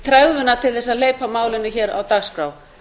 tregðuna til þess að hleypa málinu hér á dagskrá